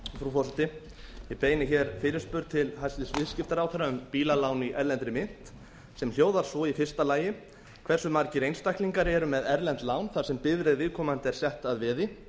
frú forseti ég beini hér fyrirspurn til hæstvirtur viðskiptaráðherra um bílalán í erlendri mynt sem hljóðar svo fyrsta hversu margir einstaklingar eru með erlend lán þar sem bifreið viðkomandi er sett